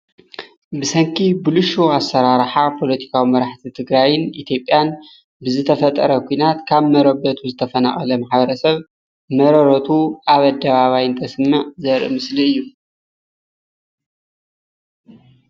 ብሰንኪ ብልሽው ኣመራረሓ ፖለቲካዊ መራሕቲ ትግራይን ኢዮጵያን ንዝተፈጠረ ኩናት ካብ መረበቱ ዝተፈናቀለ ማሕበረ ሰብ መረረቱ ኣብ ኣደባባይ እንተስምዕ ዘርኢ ምስሊ እዩ፡፡